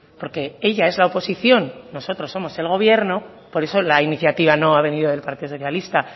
porque ella es la oposición nosotros somos el gobierno por eso la iniciativa no ha venido del partido socialista